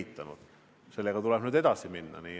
Ja sellega tuleb nüüd edasi minna.